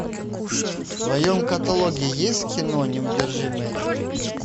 в твоем каталоге есть кино неудержимые три